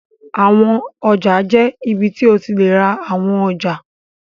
Àwọn ọjà jẹ́ ibi tí o ti lè ra àwọn ọjà.